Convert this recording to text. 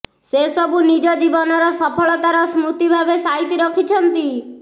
ସେସବୁ ନିଜ ଜୀବନର ସଫଳତାରର ସ୍ମୃତି ଭାବେ ସାଇତି ରଖିଛନ୍ତି